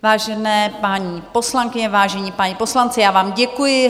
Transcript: Vážené paní poslankyně, vážení páni poslanci, já vám děkuji.